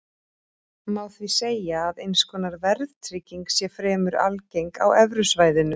Má því segja að eins konar verðtrygging sé fremur algeng á evrusvæðinu.